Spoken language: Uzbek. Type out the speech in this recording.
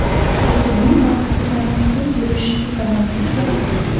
Hokimning orqasidan quvib yurish zamoni tugadi.